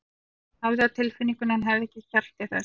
Hún hafði á tilfinningunni að hann hefði ekki kjark til þess.